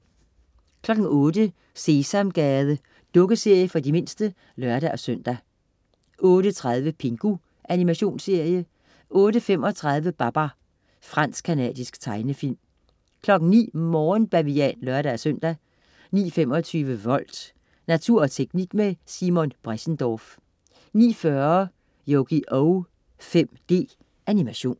08.00 Sesamgade. Dukkeserie for de mindste (lør-søn) 08.30 Pingu. Animationsserie 08.35 Babar. Fransk-canadisk tegnefilm 09.00 Morgenbavian (lør-søn) 09.25 Volt. Natur og teknik med Simon Bressendorff 09.40 Yugioh 5D. Animation